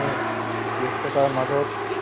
তাকে মানে এতিয়া